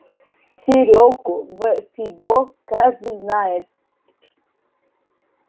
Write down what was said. серёгу в фидо каждый знает